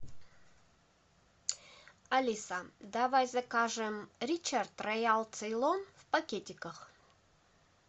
алиса давай закажем ричард роял цейлон в пакетиках